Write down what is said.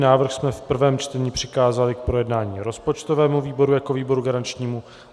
Návrh jsme v prvém čtení přikázali k projednání rozpočtovému výboru jako výboru garančnímu.